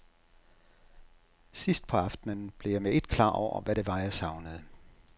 Sidst på aftenen blev jeg med et klar over, hvad det var, jeg savnede.